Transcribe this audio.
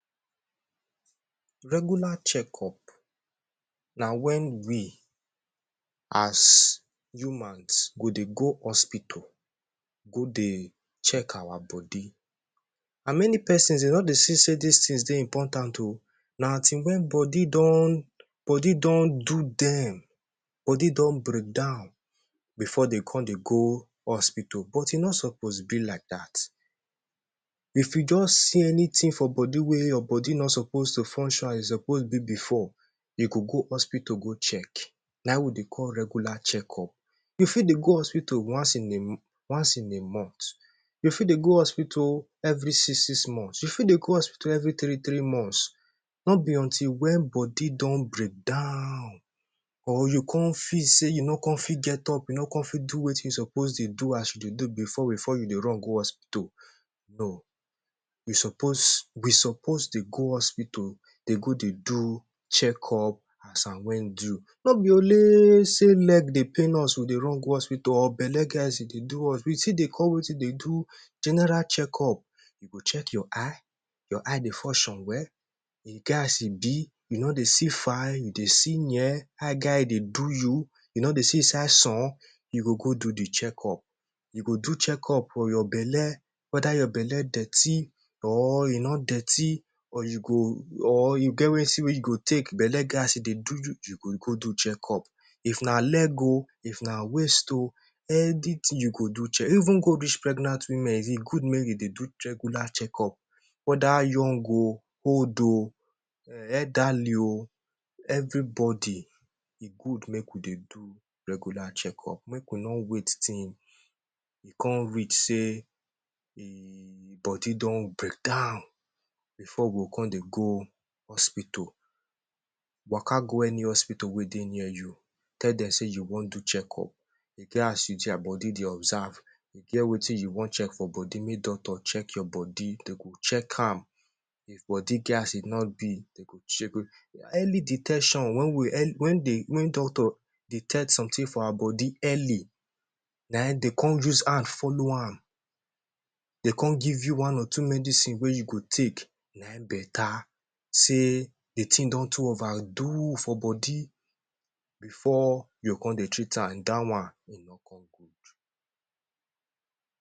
Regular checkup na wen we as humans go dey go hospital go dey check our body. An many pesons de don dey see sey dis tins dey important oh. Na until wen body don body don do dem body don break down before de con dey go hospital, but e no suppose be like dat. If you juz see anything for body wey your body no suppose to function as e suppose be before, you go go hospital go check. Na ein we dey call regular checkup. You fit dey go hospital once in a once in a month. You fit dey go hospital every six-six month. You fit dey go hospital every three-three months. No be until wen body don breakdown or you con feel sey you no con fit get up you no con fit do wetin you suppose dey do as you dey do before before you dey run go hospital, no. You suppose, we suppose dey go hospital dey go dey do checkup as at wen due. No be only sey leg dey pain us we dey run go hospital or belle get as e dey do us. We still dey come wetin dey do general checkup. You go check your eye. Your eye dey function well? E get as e be? You no dey see far? You dey see near? How e get eye dey do you? You no dey see inside sun? You go go do the checkup. You go do checkup for your belle, whether your belle dirty or e no dirty or you go or you get wetin wey you go take belle get as e dey do you, you go go do checkup. If na leg oh, if na waist oh, anything you go do checkup. Even go reach pregnant women, e go make e dey do regular checkup. Whether young oh, old oh, um elderly oh, everybody, e good make we dey do regular checkup. Make we no wait till e con reach sey e body don breakdown before we go con dey go hospital. Waka go any hospital wey dey near you. Tell dem sey you wan do checkup. E get as you your body dey observe, e get wetin you wan check for body make doctor check your body. De go check am if body get as e no be, de go Early detection. Wen we wen dey wen doctor detect something for our body early, na ein de con use hand follow am, de con give you one or two medicine wey you go take, na ein beta sey the tin don too overdo for body before you con dey treat am. Dat one, e no con good.